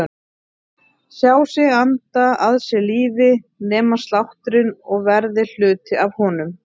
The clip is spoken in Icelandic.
Sjá sig anda að sér lífi, nema sláttinn og verða hluti af honum.